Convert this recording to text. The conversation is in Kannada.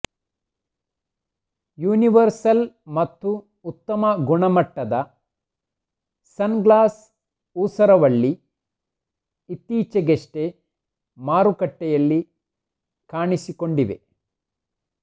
ಯುನಿವರ್ಸಲ್ ಮತ್ತು ಉತ್ತಮ ಗುಣಮಟ್ಟದ ಸನ್ಗ್ಲಾಸ್ ಊಸರವಳ್ಳಿ ಇತ್ತೀಚೆಗಷ್ಟೆ ಮಾರುಕಟ್ಟೆಯಲ್ಲಿ ಕಾಣಿಸಿಕೊಂಡಿವೆ